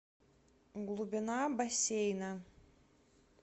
глубина бассейна